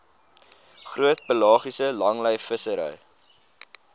groot pelagiese langlynvissery